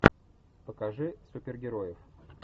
покажи супергероев